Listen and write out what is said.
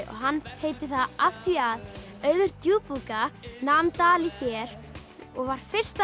hann heitir það af því að Auður djúpúðga nam dali hér og var fyrsta